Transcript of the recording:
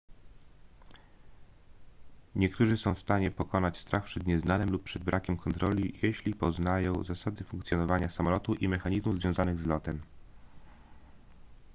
niektórzy są w stanie pokonać strach przed nieznanym lub przed brakiem kontroli jeśli poznają zasady funkcjonowania samolotu i mechanizmów związanych z lotem